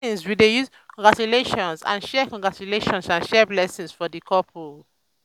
for weddings we dey use "congratulations" and share "congratulations" and share blessings for the couple.